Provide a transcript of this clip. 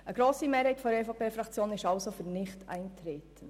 Eine grosse Mehrheit der EVP-Fraktion ist für Nichteintreten.